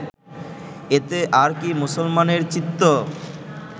এতে আর কি মুসলমানের চিত্ত